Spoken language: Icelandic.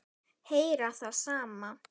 Heyra það sama.